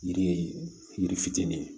Yiri ye yiri fitinin ye